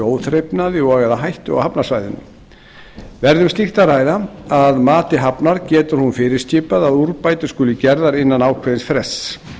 óþrifnaði og eða hættu á hafnarsvæðinu verði um slíkt að ræða að mati hafnar getur hún fyrirskipað að úrbætur skuli gerðar innan ákveðins frests